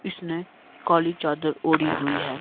इसने काली चादर ओढ़ी हुई है।